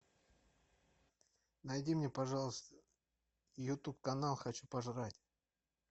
найди мне пожалуйста ютуб канал хочу пожрать